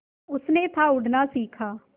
उसने था उड़ना सिखा